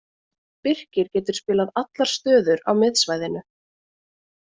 Birkir getur spilað allar stöður á miðsvæðinu.